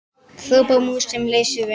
hrópar mús sem leysir vind.